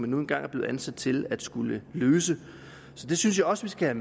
nu engang er blevet ansat til at skulle løse så det synes jeg også vi skal